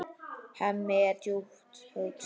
Hemmi er djúpt hugsi.